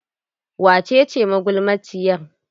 Wace ce magulmaciyar?